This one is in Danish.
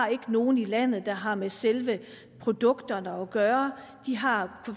nogen i landet der har med selve produkterne at gøre de har